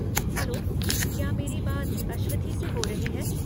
Hello, क्या मेरी बात अश्वथी से हो रही है?